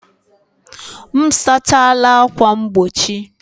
M sachala ákwà mgbochi